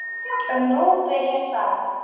En nú byrjar sagan.